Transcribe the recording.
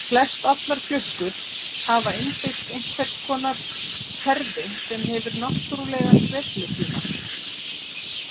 Flestallar klukkur hafa innbyggt einhvers konar kerfi sem hefur náttúrlegan sveiflutíma.